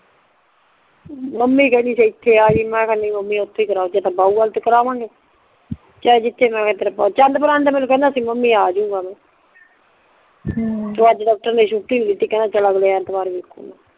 mummy ਕਿਹੰਦੀ ਇੱਥੇ ਆਜੀ ਮੈਂ ਕਿਹਾ ਨਹੀਂ ਮੰਮੀ ਇੱਥੇ ਹੀ ਕਰਾਓ ਜਿੱਥੇ ਬਹੁ ਓਥੇ ਕਰਾਵਾਂਗ ਚਾਂਦਪੁਰ ਮੈਂਨੂੰ ਕਿਹੰਦਾ ਸੀ ਮੰਮੀ ਆਜੀ ਮਾਤਾ ਹਮ ਤੇ ਅੱਜ ਤੇ ਡਾਕਟਰ ਨੇ ਛੁੱਟੀ ਨਹੀਂ ਦਿੱਤੀ ਕਿਹੰਦਾ ਅਗਲੇ ਐਤਵਾਰ ਵੇਖੂਗਾ